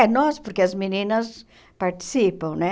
É, nós, porque as meninas participam, né?